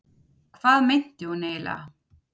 Hvað meinti hún eiginlega?